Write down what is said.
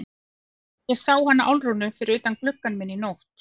Og ég sá hana Álfrúnu fyrir utan gluggann minn í nótt.